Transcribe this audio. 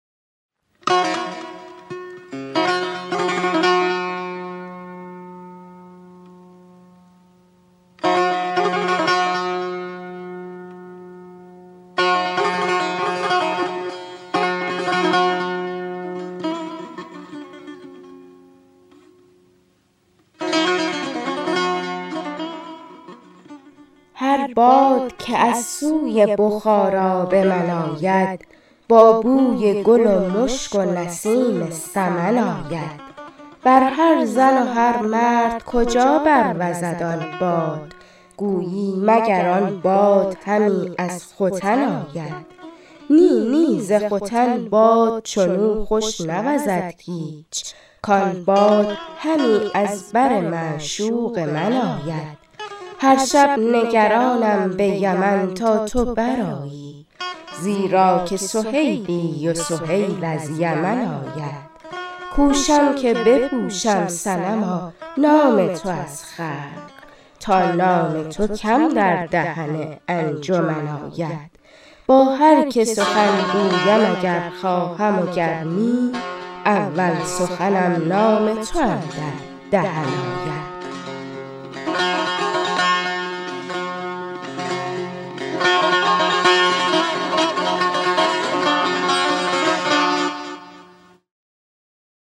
هر باد که از سوی بخارا به من آید با بوی گل و مشک و نسیم سمن آید بر هر زن و هر مرد کجا بروزد آن باد گویی مگر آن باد همی از ختن آید نی نی ز ختن باد چنو خوش نوزد هیچ کان باد همی از بر معشوق من آید هر شب نگرانم به یمن تا تو برآیی زیرا که سهیلی و سهیل از یمن آید کوشم که بپوشم صنما نام تو از خلق تا نام تو کم در دهن انجمن آید با هرکه سخن گویم اگر خواهم وگر نی اول سخنم نام تو اندر دهن آید